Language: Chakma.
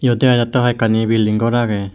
eyot dega jatee hoi eganni bilding gor aagey.